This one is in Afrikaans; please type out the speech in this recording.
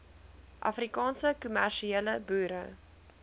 afrikaanse kommersiële boere